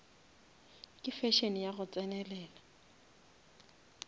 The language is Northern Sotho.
ke fashion ya go tsenelela